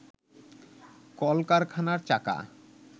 কল-কারখানার চাকা